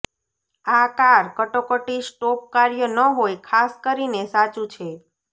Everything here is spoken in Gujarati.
આ કાર કટોકટી સ્ટોપ કાર્ય ન હોય ખાસ કરીને સાચું છે